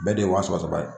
Bɛɛ de ye wa saba saba ye